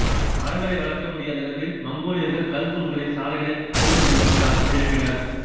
மரங்களை வளர்க்க முடியாத இடங்களில் மங்கோலியர்கள் கல் தூண்களை சாலைகளை அறிந்து கொள்வதற்காக எழுப்பினர்